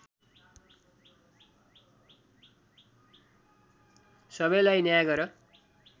सबैलाई न्याय गर